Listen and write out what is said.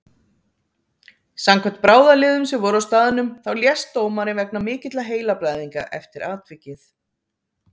Samkvæmt bráðaliðum sem voru á staðnum þá lést dómarinn vegna mikilla heilablæðinga eftir atvikið.